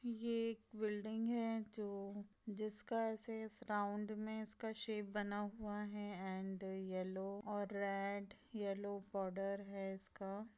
ये एक बिल्डिंग है जो जिसका राउंड में इसका शेप बना हुआ है एंड येल्लो और रेड येल्लो बॉर्डर है इसका।